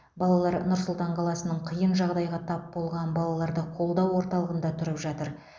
балалар нұр сұлтан қаласының қиын жағдайға тап болған балаларды қолдау орталығында тұрып жатыр